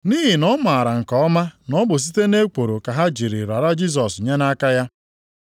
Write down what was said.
Nʼihi na ọ maara nke ọma na ọ bụ site nʼekworo ka ha ji rara Jisọs nye nʼaka ya.